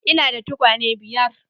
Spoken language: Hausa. Ina da tukwane biyar.